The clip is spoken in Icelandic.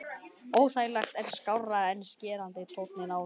Óþægilegt en skárra en skerandi tónninn áður.